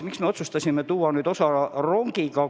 Miks me otsustasime tuua osa kaupa rongiga?